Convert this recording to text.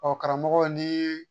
Ɔ karamɔgɔ ni